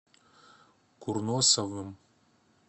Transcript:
курносовым